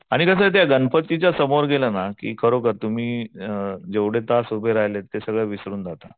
आणि कसं आहे त्या गणपतीच्या समोर गेलं ना की खरोखर तुम्ही अ जेवढे तास उभे राहिलाय ते सगळं विसरून जाताय.